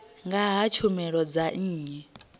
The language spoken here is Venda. nga ha tshumelo dza nnyi